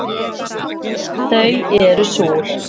Þau eru súr